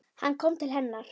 Hann kom til hennar.